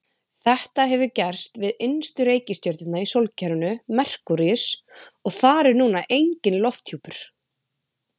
Þetta hefur gerst við innstu reikistjörnuna í sólkerfinu, Merkúríus, og þar er núna enginn lofthjúpur.